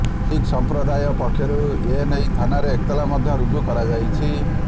ଶିଖ ସମୁଦାୟ ପକ୍ଷରୁ ଏନେଇ ଥାନାରେ ଏତଲା ମଧ୍ୟ ରୁଜୁ କରାଯାଇଛି